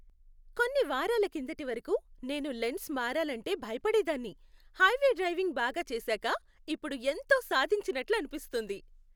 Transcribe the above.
కొన్ని వారాల కిందటి వరకు, నేను లేన్స్ మారాలంటే భయపడేదాన్ని, హైవే డ్రైవింగ్ బాగా చేసాక ఇప్పుడు ఎంతో సాధించినట్లు అనిపిస్తుంది!